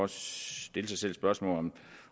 stille sig selv det spørgsmål